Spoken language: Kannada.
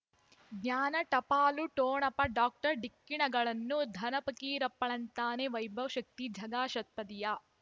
ಜ್ಞಾನ ಟಪಾಲು ಠೊಣಪ ಡಾಕ್ಟರ್ ಢಿಕ್ಕಿ ಣಗಳನು ಧನ ಫಕೀರಪ್ಪ ಳಂತಾನೆ ವೈಭವ್ ಶಕ್ತಿ ಝಗಾ ಷಟ್ಪದಿಯ